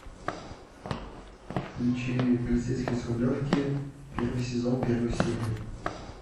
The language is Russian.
включи полицейский с рублевки первый сезон первую серию